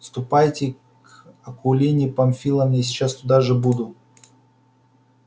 ступайте к акулине памфиловне я сейчас туда же буду